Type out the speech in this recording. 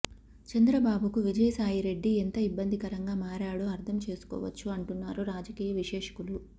చంద్రబాబుకు విజయసాయి రెడ్డి ఎంత ఇబ్బందికరంగా మారాడో అర్థం చేసుకోవచ్చు అంటున్నారు రాజకీయ విశ్లేషకులు